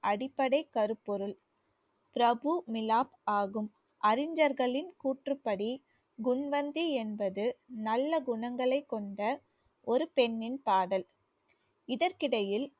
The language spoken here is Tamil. அடிப்படை கருப்பொருள் பிரபு மிலாப் ஆகும். அறிஞர்களின் கூற்றுப்படி குன்வந்தி என்பது நல்ல குணங்களைக் கொண்ட ஒரு பெண்ணின் காதல் இதற்கிடையில்